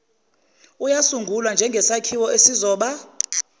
uyasungulwa njengsakhiwo esizoba